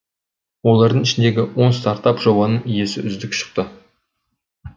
олардың ішіндегі он стартап жобаның иесі үздік шықты